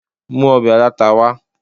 mu òbè alatá wa